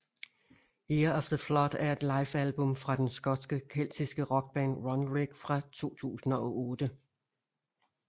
Year of the Flood er et livealbum fra den skotske keltiske rockband Runrig fra 2008